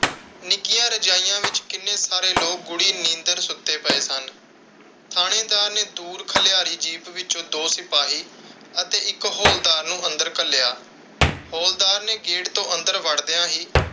ਨਿੱਕੀਆਂ ਰਜ਼ਾਈਆਂ ਵਿਚ ਕਿੰਨੇ ਸਾਰੇ ਲੋਕ ਗੂੜੀ ਨੀਂਦਰ ਸੁੱਤੇ ਪਏ ਸਨ। ਥਾਣੇਦਾਰ ਨੇ ਦੂਰ ਖਲਿਆਰੀ ਜੀਪ ਵਿਚੋਂ ਦੋ ਸਿਪਾਹੀ ਅਤੇ ਇਕ ਹੌਲਦਾਰ ਨੂੰ ਅੰਦਰ ਘੱਲਿਆ। ਹੌਲਦਾਰ ਨੇ ਗੇਟ ਤੋਂ ਅੰਦਰ ਵੜਦਿਆਂ ਹੀ,